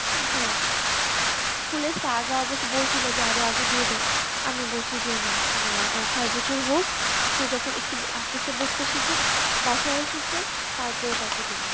হ্যাঁ। school এর স্যাররা অবশ্য বলছিল যে আরও আগে দিয়ে দিন। আমি বলছি যে না আমার আহ ছয় বছর হোক, সে যখন একটু আস্তে আস্তে বুঝতে শিখুক, বাসায়ও শিখুক, তারপরে তাকে দেবো।